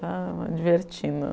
Estava me divertindo.